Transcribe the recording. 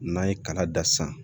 N'an ye kala dan san